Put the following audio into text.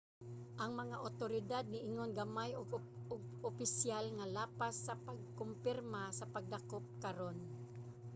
ang mga awtoridad niingon gamay og opisyal nga lapas sa pagkumpirma sa pagdakop karon